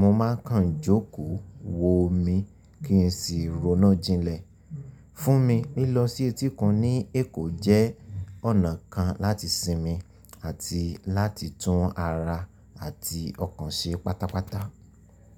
mo máa kan jókòó wo omi kí n sì ronu jinlẹ̀. Fún mi, lílọ sí etíkun ní Èkó jẹ́ ọ̀nà kan láti sinmi àti láti tún ara àti ọkàn ṣe pátápátá.